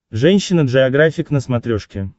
женщина джеографик на смотрешке